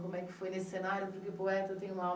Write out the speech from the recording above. como é que foi nesse cenário. Porque poeta tem uma